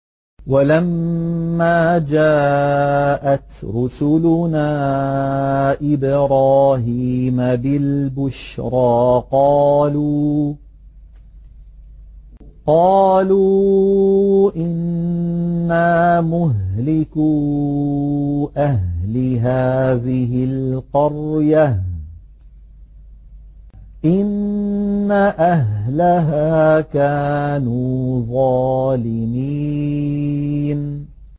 وَلَمَّا جَاءَتْ رُسُلُنَا إِبْرَاهِيمَ بِالْبُشْرَىٰ قَالُوا إِنَّا مُهْلِكُو أَهْلِ هَٰذِهِ الْقَرْيَةِ ۖ إِنَّ أَهْلَهَا كَانُوا ظَالِمِينَ